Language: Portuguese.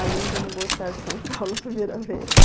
Além de não gostar de São Paulo a primeira vez.